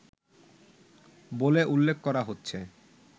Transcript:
বলে উল্লেখ করা হচ্ছে